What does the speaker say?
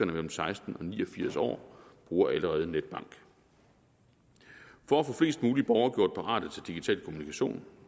mellem seksten og ni og firs år bruger allerede netbank for at få flest mulige borgere gjort parate til digital kommunikation